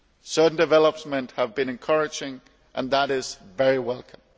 Certain developments have been encouraging, and that is very welcome.